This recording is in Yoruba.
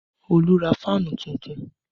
Olu ra fáànù tuntun